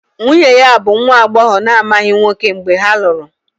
Nwunye ya bụ nwa agbọghọ na-amaghị nwoke mgbe ha lụrụ